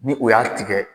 Ni o y'a tigɛ